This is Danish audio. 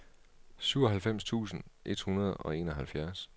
syvoghalvfems tusind et hundrede og enoghalvfjerds